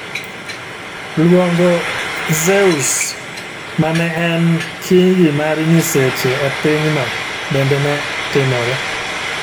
luongo Zeus ma ne en kingi mar nyiseche e pinyno bende ne timore